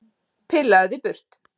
Pillaðu þig burt!